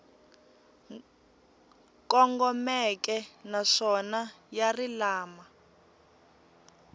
kongomeke naswona ya ri lama